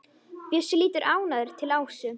Bjössi lítur ánægður til Ásu.